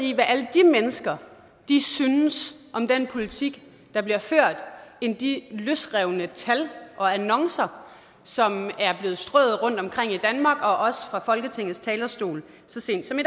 i hvad alle de mennesker synes om den politik der bliver ført end de løsrevne tal og annoncer som er blevet strøet rundtomkring i danmark og også fra folketingets talerstol så sent som i